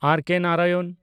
ᱟᱨ. K. Narayan